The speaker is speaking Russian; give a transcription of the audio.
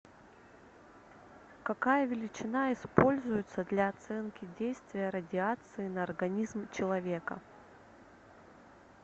какая величина используется для оценки действия радиации на организм человека